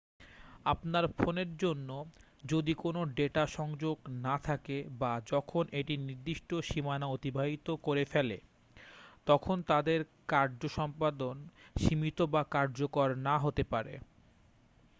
আপনার ফোনের জন্য যদি কোন ডেটা সংযোগ না থাকে বা যখন এটি নির্দিষ্ট সীমানা অতিবাহিত করে ফেলে তখন তাদের কার্য সম্পাদন সীমিত বা কার্যকর না হতে পারে